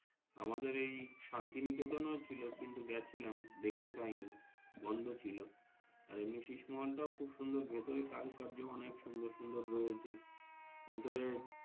আমাদের এই শান্তিনিকেতন ও ছিল কিন্তু গাচ্ছিলাম দেখতেপাইনি বন্দ ছিল আর উনি সিসমোহনটাও খুব ভেতরে কারো কার্য অনেক সুন্দর সুন্দর রয়েছে ভেতরে।